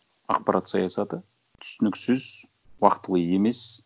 ақпарат саясаты түсініксіз уақытылы емес